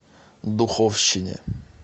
духовщине